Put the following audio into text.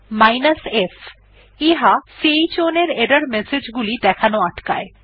f chown এর error message গুলি দেখানো আটকায়